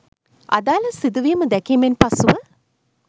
අදාළ සිදුවීම දැකීමෙන් පසුව